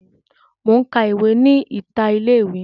Mo n ka ìwé ni ìta ilé mi.